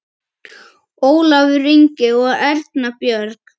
Ólafur Ingi og Erna Björg.